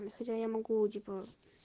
хотя я могу типо